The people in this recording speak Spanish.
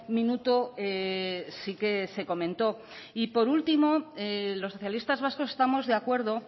minuto sí que se comentó y por último los socialistas vascos estamos de acuerdo